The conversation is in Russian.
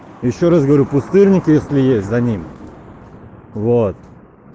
ещё раз говорю пустырник если есть за ним вот